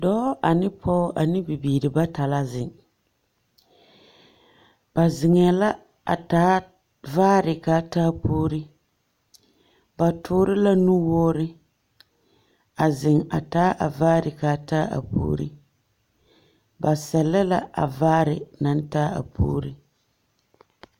Dɔɔ ane pɔɔ ane bibiiri bata la zeŋ. Ba zeŋɛɛ la a taa vaare k'a taa puuri. Ba toore la nuwoore, a zeŋ a taa a vaare k'a taa a puuri. Ba sɛllɛ la a vaare naŋ taa a puuri.